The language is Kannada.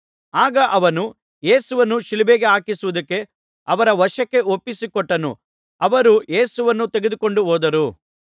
ಆಗ ಅವನು ಯೇಸುವನ್ನು ಶಿಲುಬೆಗೆ ಹಾಕಿಸುವುದಕ್ಕೆ ಅವರ ವಶಕ್ಕೆ ಒಪ್ಪಿಸಿ ಕೊಟ್ಟನು ಅವರು ಯೇಸುವನ್ನು ತೆಗೆದುಕೊಂಡು ಹೋದರು